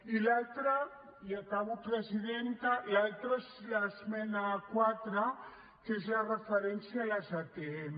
i l’altre i acabo presidenta és l’esmena quatre que és la referència a les atm